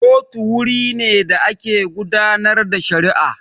Kotu wuri ne da ake gudanar da shari'a